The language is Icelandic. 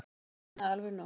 Nú er komið alveg nóg!